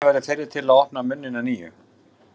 Svenni verður fyrri til að opna munninn að nýju.